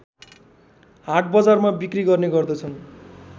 हाटबजारमा बिक्री गर्ने गर्दछन्